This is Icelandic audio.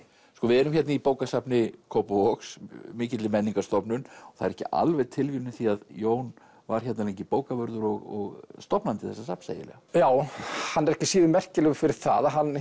sko við erum hérna í bókasafni Kópavogs mikilli menningarstofnun og það er ekki alveg tilviljun því Jón var hérna lengi bókavörður og stofnandi þessa safns eiginlega já hann er ekki síður merkilegur fyrir það að hann